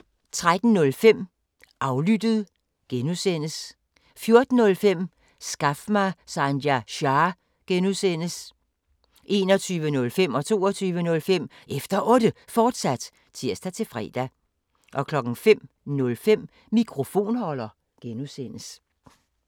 13:05: Aflyttet G) 14:05: Skaf mig Sanjay Shah! (G) 21:05: Efter Otte, fortsat (tir-fre) 22:05: Efter Otte, fortsat (tir-fre) 05:05: Mikrofonholder (G)